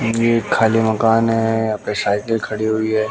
ये खाली मकान है यहां पे साइकिल खड़ी हुई है।